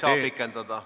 Kahjuks ei saa pikendada.